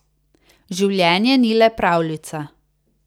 Življenje ni le pravljica.